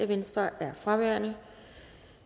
venstre er fraværende